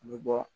An bɛ bɔ